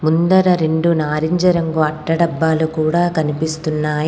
ముందర రెండు నారింజ రంగు అట్ట డబ్బాలు కూడా కనిపిస్తున్నాయి.